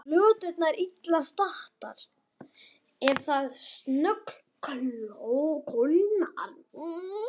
En eru plönturnar illa staddar ef það snöggkólnar?